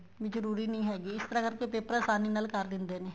ਵੀ ਜਰੂਰੀ ਨਹੀਂ ਹੈਗੀ ਇਸ ਤਰ੍ਹਾਂ ਕਰਕੇ paper ਆਸਾਨੀ ਨਾਲ ਕਰ ਦਿੰਦੇ ਨੇ